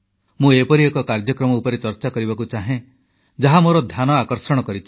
ମୁଁ ଏପରି ଏକ କାର୍ଯ୍ୟକ୍ରମ ଉପରେ ଚର୍ଚ୍ଚା କରିବାକୁ ଚାହେଁ ଯାହା ମୋର ଧ୍ୟାନ ଆକର୍ଷଣ କରିଛି